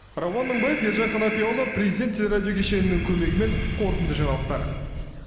рауан мыңбаев ержан қанапияұлы президент телерадио кешенінің көмегімен қорытынды жаңалықтар